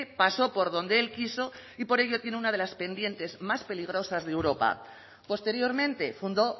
pasó por donde él quiso y por ello tiene una de las pendientes más peligrosas de europa posteriormente fundó